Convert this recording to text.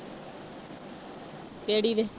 ਕਿਹੜੀ ਦੇ।